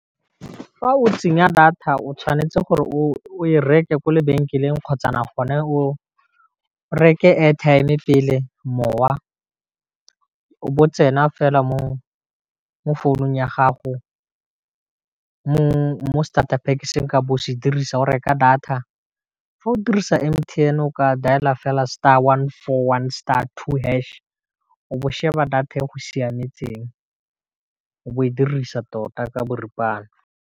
Fa o tsenya data o tshwanetse gore o reke kwa lebenkeleng kgotsa na gone go o reke airtime pele mowa o bo o tsena fela mo founung ya gago mo statapack se nka bo o se dirisa o reka data, fa o dirisa M_T_N o ka dial-a fela star one four one star two hash, o bo sheba data e go siametseng o bo o e dirisa tota ka boripana.